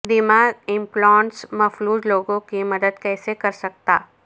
دماغ ایمپلانٹس مفلوج لوگوں کی مدد کیسے کر سکتا